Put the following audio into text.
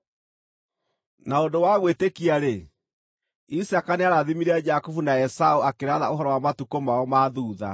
Na ũndũ wa gwĩtĩkia-rĩ, Isaaka nĩarathimire Jakubu na Esaũ akĩratha ũhoro wa matukũ mao ma thuutha.